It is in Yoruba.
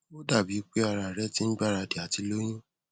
ó dàbí i pé ara rẹ ti ń gbáradì àti lóyún